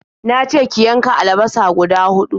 Na ce ki yanka alabasa guda huɗu.